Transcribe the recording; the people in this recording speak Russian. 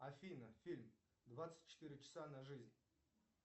афина фильм двадцать четыре часа на жизнь